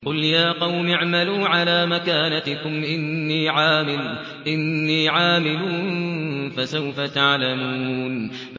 قُلْ يَا قَوْمِ اعْمَلُوا عَلَىٰ مَكَانَتِكُمْ إِنِّي عَامِلٌ ۖ فَسَوْفَ تَعْلَمُونَ